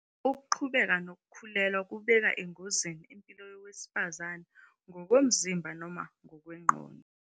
Ukuqhubeka nokukhulelwa kubeka engozini impilo yowesifazane ngokomzimba noma ngokwengqondo.